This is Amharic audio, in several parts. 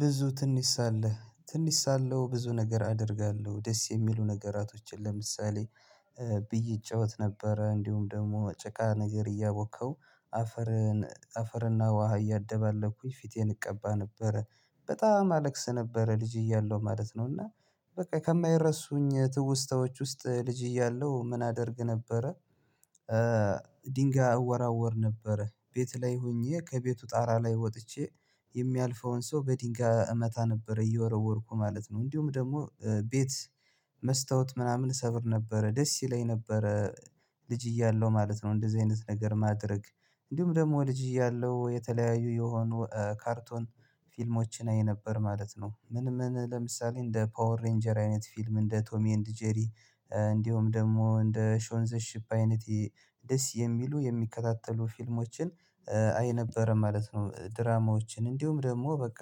ብዙ ትንሽ ሳለህ ትንሽ ሳለሁ ብዙ ነገር አደርጋለሁ ደስ የሚሉ ነገራቶችን ለምሳሌ ብይ እጫወት ነበረ እንዲሁም ደግሞ ጭቃ ነገር እያቦካው አፈርን አፈርና ውሃ እያደባለኩኝ ፊቴን እቀባ ነበረ በጣም አለቅስ ነበረ ልጅ እያለሁ ማለት ነው። እና በቃ ከማይረሱኝ ትውስታዎች ውስጥ ልጅ እያለሁ ምን አደርግ ነበረ። ድንጋይ እወራወር ነበር ቤት ላይ ሆኜ ከቤቱ ጣራ ላይ ወጥቼ የሚያልፈውን ሰው በድንጋይ እመታ ነበር እየወረወርኩ ማለት ነው። እንዲሁም ደግሞ ቤት መስታወት ምናምን እሰብር ነበረ ደስ ይለኝ ነበረ ልጅ እያለሁ ማለት ነው። እንደዚህ አይነት ነገር ማድረግ እንዲሁም ደግሞ ልጅ እያለሁ የተለያዩ የሆኑ ካርቶን ፊልሞችን አይነበር ማለት ነው። ምን ምን ለምሳሌ እንደ ፓወር ሬንጀር አይነት ፊልም እንደ ቶሚ ኤንድ ጄሪ እንዲሁም ደግሞ እንደ ሾንዘሺፕ አይነት ደስ የሚሉ የሚከታተሉ ፊልሞችን አይነበረ ማለት ነው። ድራማዎችን እንዲሁም ደግሞ በቃ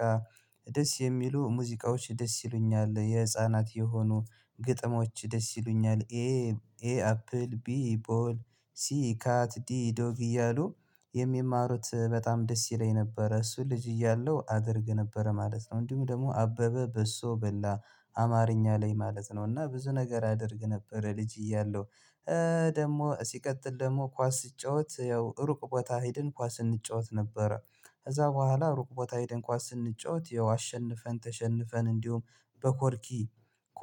ደስ የሚሉ ሙዚቃዎች ደስ ይሉኛል የህፃናት የሆኑ ግጥሞች ደስ ይሉኛል። ይሄ ኤ አፕል ቢ ቦል ሲ ካት ዲ ዶግ እያሉ የሚማሩት በጣም ደስ ይለኝ ነበረ እሱ ልጅ እያለው አደርግ ነበረ ማለት ነው። እንዲሁም ደግሞ አበበ በሶ በላ አማርኛ ላይ ማለት ነው እና ብዙ ነገር አደርግ ነበር ልጅ እያለሁ። ደግሞ ሲቀጥል ደግሞ ኳስ ስጫወት ያው ሩቅ ቦታ ሄድን ኳስ ስንጫወት ነበረ። ከዛ በኋላ ሩቅ ቦታ ሄድን ኳስ ስንጫወት ያው አሸንፈን ተሸንፈን እንዲሁም በኮርኪ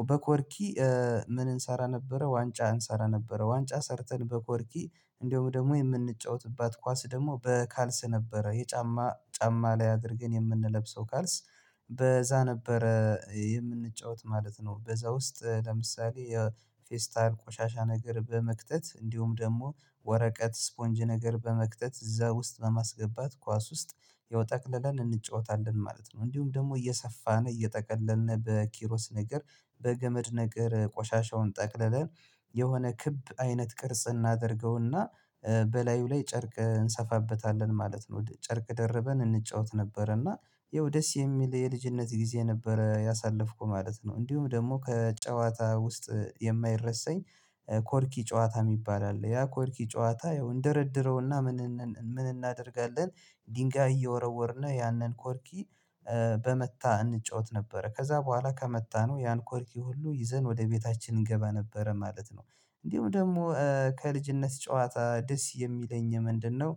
በኮርኪ ምን እንሰራ ነበረ? ዋንጫ እንሰራ ነበረ ዋንጫ ሰርተን በኮርኪ እንደውም ደግሞ የምንጫወትባት ኳስ ደግሞ በካልስ ነበረ። የጫማ ጫማ ላይ አድርገን የምንለብሰው ካልስ በዛ ነበረ የምንጫወት ማለት ነው። በዛ ውስጥ ለምሳሌ የፌስታል ቆሻሻ ነገር በመክተት እንዲሁም ደግሞ ወረቀት ስፖንጅ ነገር በመክተት እዛ ውስጥ በማስገባት ኳስ ውስጥ ይኸው ጠቅለላን እንጫወታለን ማለት ነው። እንዲሁም ደግሞ እየሰፋን እየጠቀለልን በኪሮስ ነገር በገመድ ነገር ቆሻሻውን ጠቅልለን የሆነ ክብ አይነት ቅርጽ እናደርገውና በላዩ ላይ ጨርቅ እንሰፋበታለን ማለት ነው። ጨርቅ ደርበን እንጫወት ነበረ እና ይኸው ደስ የሚል የልጅነት ጊዜ ነበረ ያሳለፍኩ ማለት ነው። እንዲሁም ደግሞ ከጨዋታ ውስጥ የማይረሳኝ ኮርኪ ጨዋታ የሚባል አለ። ያ ኮርኪ ጨዋታ ያው እንደረድረውና ምን እናደርጋለን? ድንጋይ እየወረወርን ያንን ኮርኪ በመታ እንጫወት ነበረ። ከዛ በኋላ ከመታነው ያን ኮርኪ ሁሉ ይዘን ወደ ቤታችን እንገባ ነበረ ማለት ነው። እንዲሁ ደግሞ ከልጅነት ጨዋታ ደስ የሚለኝ ምንድነው?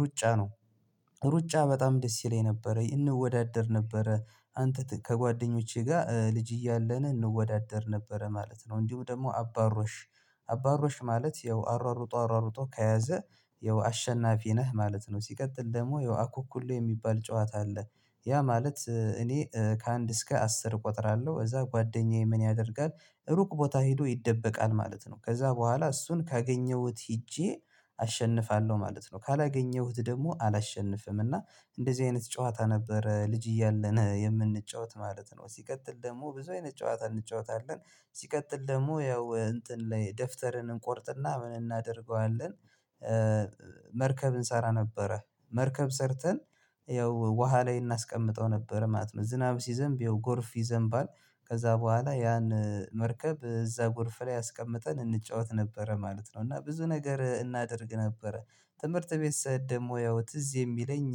ሩጫ ነው። ሩጫ በጣም ደስ ይለኝ ነበረ እንወዳደር ነበረ አንተ ከጓደኞቼ ጋር ልጅ እያለን እንወዳደር ነበረ ማለት ነው። እንዲሁ ደግሞ አባሮሽ አባሮሽ ማለት ያው አሯሩጦ አሯሩጦ ከያዘ ያው አሸናፊ ነህ ማለት ነው። ሲቀጥል ደግሞ ያው አኩኩሉ የሚባል ጨዋታ አለ። ያ ማለት እኔ ከአንድ እስከ አስር እቆጥራለሁ እዛ ጓደኛዬ ምን ያደርጋል? ሩቅ ቦታ ሄዶ ይደበቃል ማለት ነው። ከዛ በኋላ እሱን ካገኘሁት ሄጄ አሸንፋለሁ ማለት ነው። ካላገኘሁት ደግሞ አላሸንፍም እና እንደዚህ አይነት ጨዋታ ነበረ ልጅ እያለን የምንጫወት ማለት ነው። ሲቀጥል ደግሞ ብዙ አይነት ጨዋታ እንጫወታለን። ሲቀጥል ደግሞ ያው እንትን ላይ ደፍተርን እንቆርጥና ምን እናደርገዋለን? መርከብ እንሰራ ነበረ። መርከብ ሰርተን ያው ውሃ ላይ እናስቀምጠው ነበረ ማለት ነው። ዝናብ ሲዘንብ ይኸው ጎርፍ ይዘንባል። ከዛ በኋላ ያን መርከብ እዛ ጎርፍ ላይ አስቀምጠን እንጫወት ነበረ ማለት ነው። እና ብዙ ነገር እናደርግ ነበረ። ትምህርት ቤት ስኔድ ደሞ ያው ትዝ የሚለኝ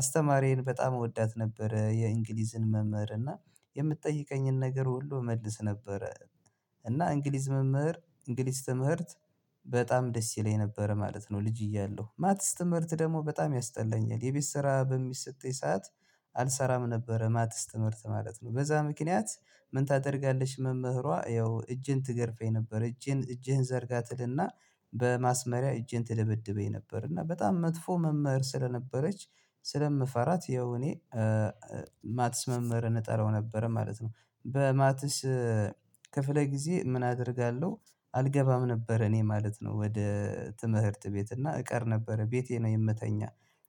አስተማሪዬን በጣም እወዳት ነበረ። የእንግሊዝን መምህር እና የምትጠይቀኝን ነገር ሁሉ እመልስ ነበረ። እና እንግሊዝ መምህር እንግሊዝ ትምህርት በጣም ደስ ይለኝ ነበረ ማለት ነው። ልጅ እያለሁ ማትስ ትምህርት ደግሞ በጣም ያስጠላኛል የቤት ስራ በሚሰጠኝ ሰዓት። አልሰራም ነበረ ማትስ ትምህርት ማለት ነው። በዛ ምክንያት ምን ታደርጋለች? መምህሯ ያው እጄን ትገርፈኝ ነበር እጅን እጅህን ዘርጋትልና በማስመሪያ እጄን ትደበድበኝ ነበር። እና በጣም መጥፎ መምህር ስለነበረች ስለምፈራት ያው እኔ ማትስ መምህርን እጠራው ነበር ማለት ነው። በማትስ ክፍለ ጊዜ ምን አደርጋለሁ? አልገባም ነበር እኔ ማለት ነው። ወደ ትምህርት ቤት እና እቀር ነበረ ቤቴ ነው የምተኛ።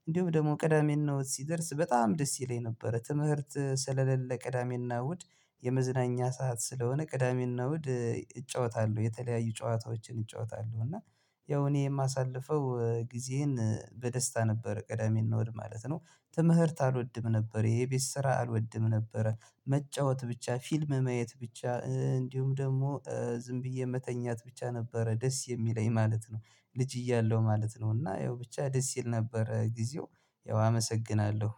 እንዲሁም ደግሞ ቅዳሜና እሁድ ሲደርስ በጣም ደስ ይለኝ ነበረ ትምህርት ስለሌለ ቅዳሜና እሁድ። የመዝናኛ ሰዓት ስለሆነ ቅዳሜና እሁድ እጫወታለሁ የተለያዩ ጨዋታዎችን ይጫወታሉ እና ያው እኔ የማሳልፈው ጊዜዬን በደስታ ነበር። ቅዳሜ እና እሁድ ማለት ነው። ትምህርት አልወድም ነበር ይሄ የቤት ስራ አልወድም ነበረ። መጫወት ብቻ ፊልም ማየት ብቻ እንዲሁም ደግሞ ዝም ብዬ መተኛት ብቻ ነበረ ደስ የሚለኝ ማለት ነው። ልጅ እያለሁ ማለት ነው። እና ያው ብቻ ደስ ይል ነበር ጊዜው። ያው አመሰግናለሁ።